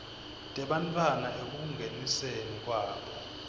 tebantfwana ekungeniseni kwabo